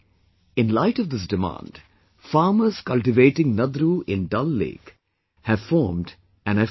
In light of this demand, farmers cultivating Nadru in Dal Lake have formed an FPO